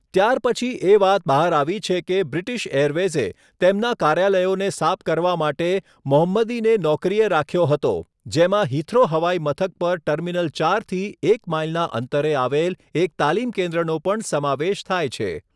ત્યારપછી એ વાત બહાર આવી છે કે બ્રિટિશ એરવેઝે તેમના કાર્યાલયોને સાફ કરવા માટે મોહંમદીને નોકરીએ રાખ્યો હતો, જેમાં હિથ્રો હવાઇમથક પર ટર્મિનલ ચાર થી એક માઈલના અંતરે આવેલ એક તાલીમ કેન્દ્રનો પણ સમાવેશ થાય છે.